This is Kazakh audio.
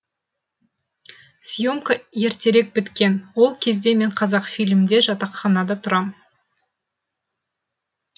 съемка ертерек біткен ол кезде мен қазақфильмде жатақханада тұрам